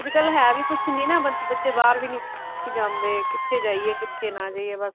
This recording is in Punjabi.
ਅੱਜਕਲ ਹੈ ਵੀ ਕੁੱਛ ਨਹੀਂ ਨਾ ਬੱਚੇ ਬਾਹਰ ਵੀ ਨਹੀਂ ਜਾਂਦੇ ਕਿੱਥੇ ਜਾਈਏ ਕਿੱਥੇ ਨਾ ਜਾਈਏ ਬਸ